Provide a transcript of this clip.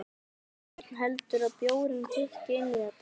Björn: Heldurðu að bjórinn tikki inn í þetta?